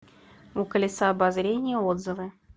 у колеса обозрения отзывы